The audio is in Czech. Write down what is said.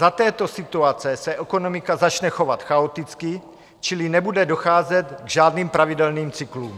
Za této situace se ekonomika začne chovat chaoticky, čili nebude docházet k žádným pravidelným cyklům.